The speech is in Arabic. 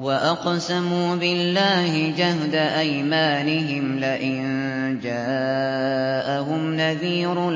وَأَقْسَمُوا بِاللَّهِ جَهْدَ أَيْمَانِهِمْ لَئِن جَاءَهُمْ نَذِيرٌ